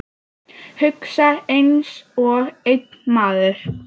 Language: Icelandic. Hugsa einsog einn maður.